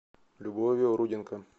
любовью руденко